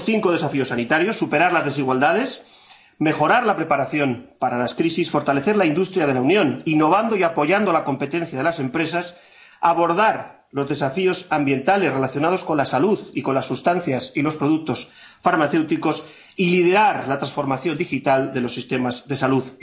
Tenemos cinco desafíos sanitarios superar las desigualdades, mejorar la preparación para las crisis, fortalecer la industria de la Unión innovando y apoyando la competencia de las empresas, abordar los desafíos ambientales relacionados con la salud y con las sustancias y los productos farmacéuticos y liderar la transformación digital de los sistemas de salud.